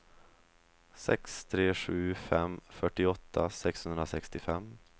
sex tre sju fem fyrtioåtta sexhundrasextiofem